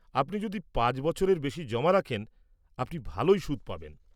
আপনি যদি পাঁচ বছরের বেশি জমা রাখেন, আপনি ভালই সুদ পাবেন।